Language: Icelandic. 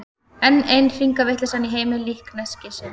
Enn ein hringavitleysan í heimi líkneskisins.